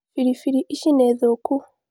Biribiri Ici nĩthũku